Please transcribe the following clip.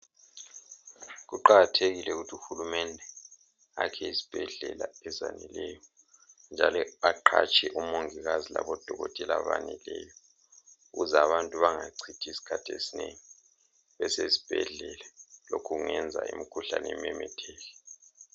Kuqakathekile ukuthi uhulumende akhe izibhedlela ezaneleyo njalo aqhatshe omongikazi labodokotela abeneleyo ukuze abantu bengachithi isikhathi esinengi besesibhedlela lokhu kungenza imikhuhlane imemetheke.